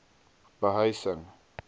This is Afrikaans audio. behuising